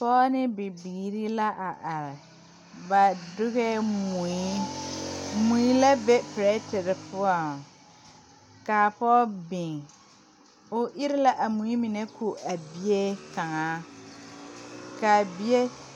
Pɔɔ ne bibiire la a are ba dugɛɛ mui mui la be pirɛterre poɔŋ kaa pɔɔ biŋ o ire la a mui mine ko a bie kaŋa kaa bie.